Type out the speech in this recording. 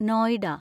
Noida